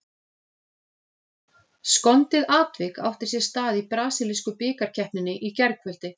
Skondið atvik átti sér stað í brasilísku bikarkeppninni í gærkvöldi.